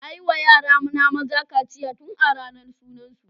Nayi wa yara na maza kaciya tun a ranar sunan su.